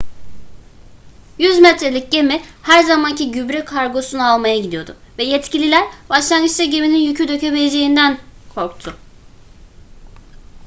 100 metrelik gemi her zamanki gübre kargosunu almaya gidiyordu ve yetkililer başlangıçta geminin yükü dökebileceğinden korktu